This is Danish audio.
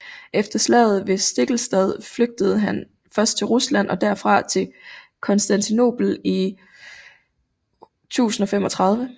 Efter slaget ved Stiklestad flygtede han først til Rusland og derfra til Konstantinopel i 1035